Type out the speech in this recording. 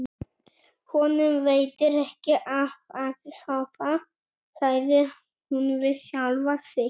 Honum veitir ekki af að sofa, sagði hún við sjálfa sig.